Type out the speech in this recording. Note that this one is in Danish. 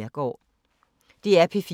DR P4 Fælles